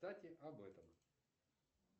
кстати об этом